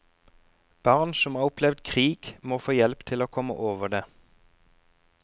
Barn som har opplevd krig, må få hjelp til å komme over det.